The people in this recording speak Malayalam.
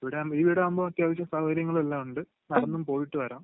ഇവിടെയാകുമ്പോ, ഈ വീടാകുമ്പോ അത്യാവശ്യം സൗകര്യങ്ങളും എല്ലാം ഉണ്ട്, നടന്നും പോയിട്ട് വരാം...